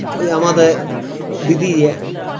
ঐ আমাদের দিদি এ